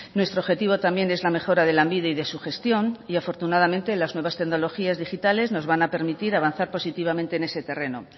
nuestro objetivo también es la mejora de lanbide y de su gestión y afortunadamente las nuevas tecnologías digitales nos van a permitir avanzar positivamente en ese terreno